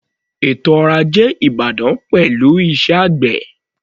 Ètò ọrọ̀ ajé ìbàdàn pẹ̀lú iṣẹ́ àgbè.